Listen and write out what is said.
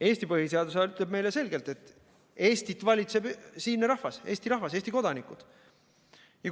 Eesti põhiseadus ütleb meile selgelt, et Eestit valitseb siinne rahvas, Eesti rahvas, Eesti kodanikud.